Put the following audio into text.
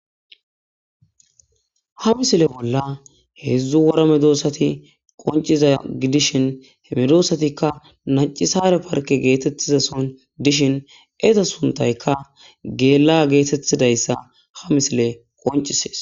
Ha misile bolla heedzdzu woramedoossati qonciza gi dishin he medosatikka nacisare parke geetettizason dishin eza suntayka geela geetettidayssa ha misile qoncisees.